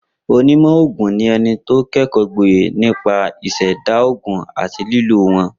Onímọ̀ ògùn ni e̩ni tó ké̩kò̩ó̩ gboyè nípa ìs̩è̩dá ògùn àti lílò wó̩n